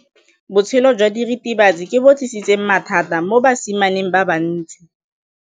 Botshelo jwa diritibatsi ke bo tlisitse mathata mo basimaneng ba bantsi.